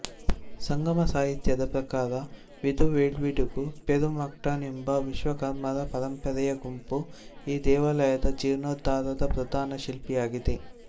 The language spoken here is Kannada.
ಸಂಗಮ ಸಾಹಿತ್ಯದ ಪ್ರಕಾರ ವಿದುವೆಲ್ವಿದುಗು ಪೆರುಮ್ಟಾಕ್ಕನ್ ಎಂಬ ವಿಶ್ವಕರ್ಮರ ಪರಂಪರೆಯ ಗುಂಪು ಈ ದೇವಾಲಯದ ಜೀರ್ಣೋದ್ಧಾರದ ಪ್ರಧಾನ ಶಿಲ್ಪಿಯಾಗಿದೆ